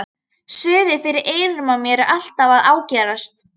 Suðið fyrir eyrunum á mér er alltaf að ágerast.